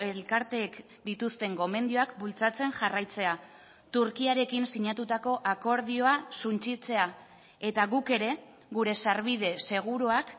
elkarteek dituzten gomendioak bultzatzen jarraitzea turkiarekin sinatutako akordioa suntsitzea eta guk ere gure sarbide seguruak